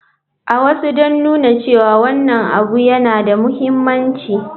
A wasu don nuna cewa wannan abu yana da mahimmanci.